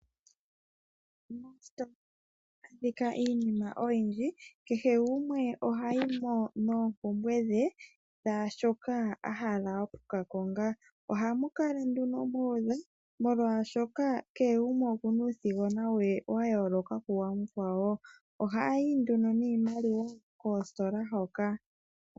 Moositola ohamu adhika iinima oyindji. Kehe gumwe ohayi mo noompumbwe dhe dhaa shoka a hala oku ka konga. Ohamu kala nduno mu udha, molwashoka kehe gumwe oku na uuthigona we wa yooloka kuwamukwawo. Ohaa yi nduno niimaliwa koositola hoka.